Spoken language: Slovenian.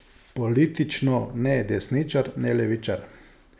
Politično ne desničar ne levičar.